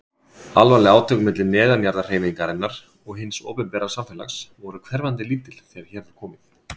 Alvarleg átök milli neðanjarðarhreyfingarinnar og hins opinbera samfélags voru hverfandi lítil þegar hér var komið.